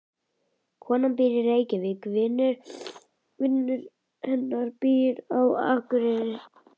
Konan býr í Reykjavík. Vinur hennar býr á Akureyri.